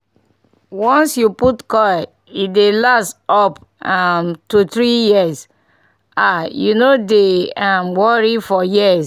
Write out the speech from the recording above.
once you put coil e dey last up um to 3yrs -- ah u no dey um worry for years.